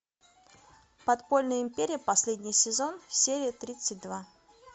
подпольная империя последний сезон серия тридцать два